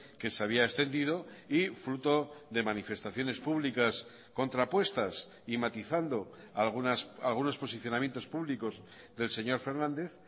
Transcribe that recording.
que se había extendido y fruto de manifestaciones públicas contrapuestas y matizando algunos posicionamientos públicos del señor fernández